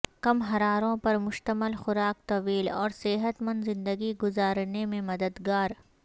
کم حراروں پر مشتمل خوراک طویل اور صحت مند زندگی گزار نے میں مددگار